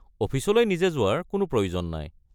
অফিচলৈ নিজে যোৱাৰ কোনো প্ৰয়োজন নাই।